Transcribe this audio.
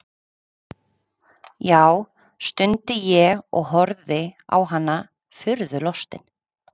Já, stundi ég og horfði á hana furðulostinn.